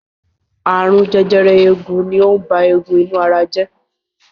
Ààrùn jẹjẹrẹ eegun ni ó ń ba eegun inú ara jẹ́.